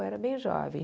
Eu era bem jovem.